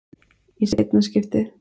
Í seinna skiptið.